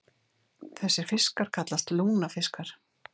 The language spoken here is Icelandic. Þessir fiskar kallast lungnafiskar.